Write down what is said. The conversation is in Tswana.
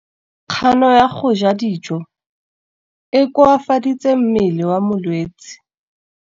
Kganô ya go ja dijo e koafaditse mmele wa molwetse.